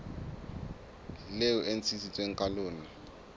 leo e ntshitsweng ka lona